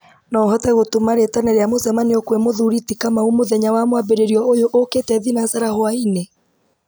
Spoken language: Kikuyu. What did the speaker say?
no ũhote gũtũma rĩtana rĩa mũcemanio kwĩ mũthuri ti kamau mũthenya wa mwambĩrĩrio ũyũ ũũkĩte thinacara hwaĩ-inĩ